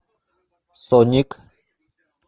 соник